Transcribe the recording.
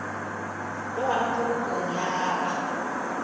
le gona polokong ya gagwe